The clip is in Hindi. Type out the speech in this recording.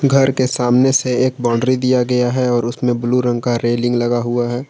घर के सामने से एक बाउंड्री दिया गया है और उसमें ब्लू रंग का रेलिंग लगा हुआ है।